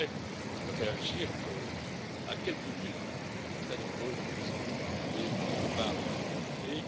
Je voudrais réagir à quelques unes des très nombreuses questions soulevées par les députés.